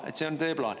Et see on teie plaan.